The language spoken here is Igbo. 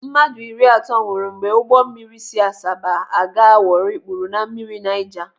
Mmadụ iri atọ nwụrụ mgbe ụgbọ mmiri si Asaba aga Warri kpuru na mmiri Naija.